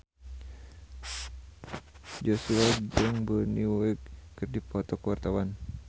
Joshua jeung Bonnie Wright keur dipoto ku wartawan